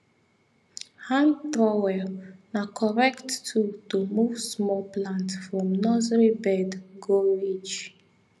hand trowel na correct tool to move small plant from nursery bed go ridge